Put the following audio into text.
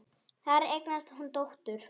Þar eignast hún dóttur.